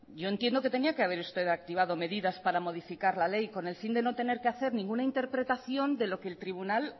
yo entiendo que tendría que haber usted activado medidas para modificar la ley con el fin de no tener que hacer ninguna interpretación de lo que el tribunal